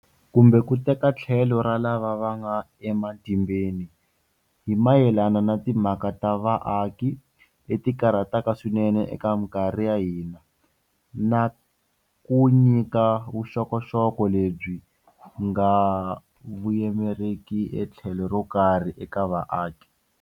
Kumbe ku teka tlhelo ra lava va nga ematimbeni, hi mayelana na timhaka ta vaaki leti karhataka swinene eka mikarhi ya hina, na ku nyika vuxokoxoko lebyi nga voyameriki etlhelo ro karhi eka vaaki.